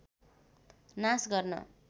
नाश गर्न